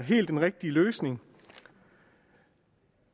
helt rigtige løsning